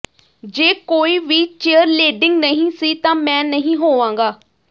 ਜੇ ਕੋਈ ਵੀ ਚੇਅਰਲੇਡਿੰਗ ਨਹੀਂ ਸੀ ਤਾਂ ਮੈਂ ਨਹੀਂ ਹੋਵਾਂਗਾ